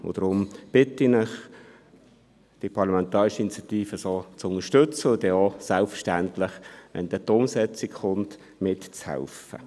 Deshalb bitte ich Sie, die Parlamentarische Initiative so zu unterstützen und selbstverständlich auch dann mitzuhelfen, wenn die Umsetzung ansteht.